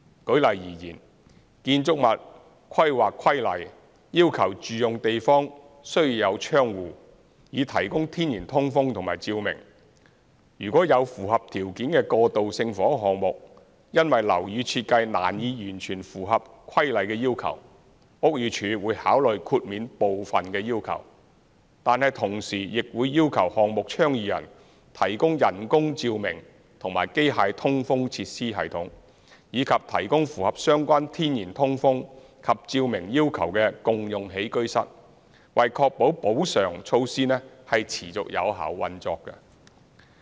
舉例而言，《建築物規例》要求住用地方需有窗戶，以提供天然通風及照明；若有符合條件的過渡性房屋項目，因樓宇設計難以完全符合《規例》的要求，屋宇署會考慮豁免部分的要求，但同時亦會要求項目倡議人提供人工照明及機械通風設施系統，以及提供符合相關天然通風及照明要求的共用起居室，以確保補償措施持續有效運作。